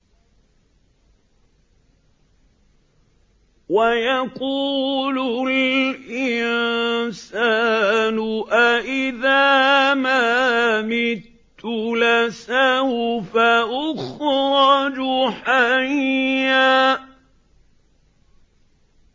وَيَقُولُ الْإِنسَانُ أَإِذَا مَا مِتُّ لَسَوْفَ أُخْرَجُ حَيًّا